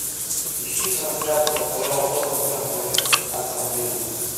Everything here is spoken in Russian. ищи трансляцию апл тоттенхэм против астон виллы